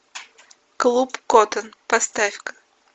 клуб коттон поставь ка